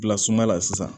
Bila suma la sisan